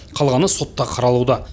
қалғаны сотта қаралуда